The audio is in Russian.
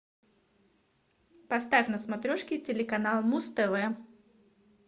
поставь на смотрешке телеканал муз тв